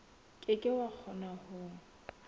ke ke wa kgona ho